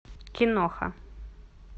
киноха